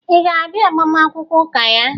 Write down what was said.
Ị ga-abịa agbamakwụkwọ ụka ya?